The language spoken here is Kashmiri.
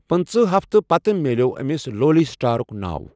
پنٕژٕہ ہفتہٕ، پتہٕ مِلٮ۪و أمِس 'لولی سٹارُک' ناو۔